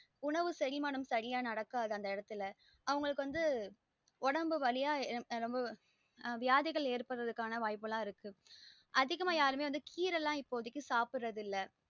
உணவு செரிமானம் சரியான நடக்காத அந்த இடத்துல அவங்களுக்கு வந்து உடம்பு வழியா ரொம்ப வியாதிகல் எற்படுவதுர்கான வாய்புல்லாம் இருக்கு அதிகம்ம யாருமே வந்து கீரை லாம் சாப்டறது இல்ல